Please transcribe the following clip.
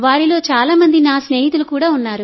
వారిలో చాలా మంది నా స్నేహితులు కూడా